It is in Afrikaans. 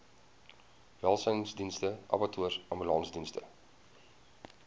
welsynsdienste abattoirs ambulansdienste